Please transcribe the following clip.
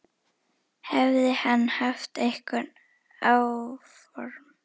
Hefði hann haft einhver áform.